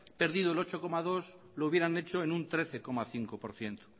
perdido el ocho coma dos por ciento lo hubieran hecho en un trece coma cinco por ciento